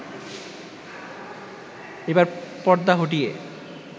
এবার পর্দা হটিয়ে